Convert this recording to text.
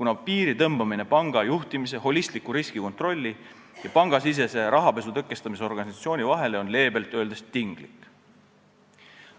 kuna piiri tõmbamine panga juhtimise, holistliku riskikontrolli ja pangasisese rahapesu tõkestamise organisatsiooni vahele on leebelt öeldes tinglik.